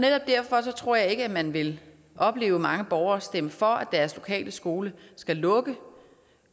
netop derfor tror jeg ikke at man vil opleve mange borgere stemme for at deres lokale skole skal lukke